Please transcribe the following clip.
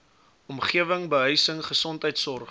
omgewing behuising gesondheidsorg